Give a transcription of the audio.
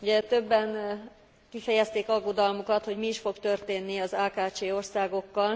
Ugye többen kifejezték aggodalmukat, hogy mi is fog történni az AKCS országokkal.